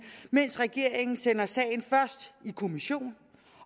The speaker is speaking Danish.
mens regeringen sender sagen først i kommission